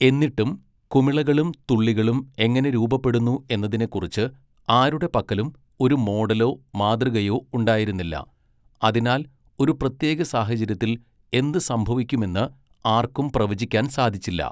എന്നിട്ടും കുമിളകളും തുള്ളികളും എങ്ങനെ രൂപപ്പെടുന്നു എന്നതിനെക്കുറിച്ച് ആരുടെ പക്കലും ഒരു മോഡലോ മാതൃകയോ ഉണ്ടായിരുന്നില്ല, അതിനാൽ ഒരു പ്രത്യേക സാഹചര്യത്തിൽ എന്ത് സംഭവിക്കുമെന്ന് ആർക്കും പ്രവചിക്കാൻ സാധിച്ചില്ല.